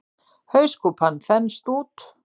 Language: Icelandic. Hauskúpan þenst út.